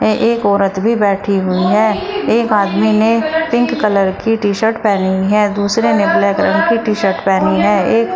एक औरत भी बैठी हुई है एक आदमी ने पिंक कलर की टी शर्ट पहनी है दूसरे ने ब्लैक कलर की टी शर्ट पहनी हैं एक--